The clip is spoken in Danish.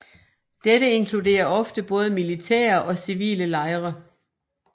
Dette inkluderer ofte både militære og civile lejre